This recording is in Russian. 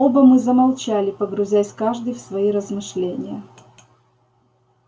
оба мы замолчали погрузясь каждый в свои размышления